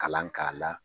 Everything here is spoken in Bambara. Kalan k'a la